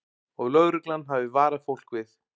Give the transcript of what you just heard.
Og lögreglan hafi varað fólk við